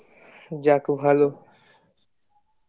যাক ভালো